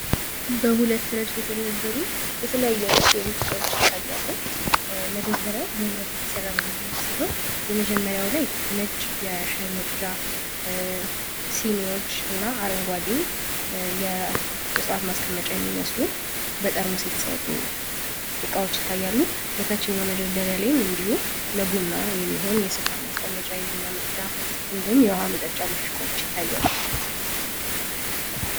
በሁለት ረድፍ የተደረገው የተለያዩ በህብረት የተሰራ ሲሆን የመጀመሪያው ላይ ነጭ የሻይ መቅዳ አረንጓዴ ማስቀመጫ የሚመስሉ በጠርሙስ የተሰሩ እቃዎች ይታያሉ። እንዲሁም ለቡና የሚሆን የስኳር ማስቀመጫ የቡና ፤እንዲሁም የውሃ መጠጫ ይታያል።